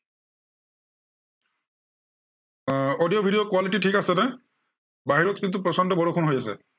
আহ audio video ৰ quality ঠিক আছে নে? বাহিৰত কিন্তু প্ৰচণ্ড বৰষুণ হৈ আছে।